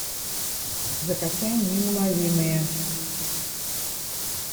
закачай неуловимые